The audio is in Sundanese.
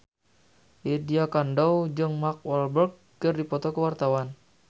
Lydia Kandou jeung Mark Walberg keur dipoto ku wartawan